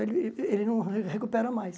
Ele, ele não re recupera mais.